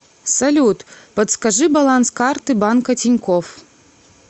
салют подскажи баланс карты банка тинькофф